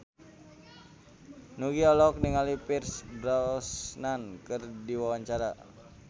Nugie olohok ningali Pierce Brosnan keur diwawancara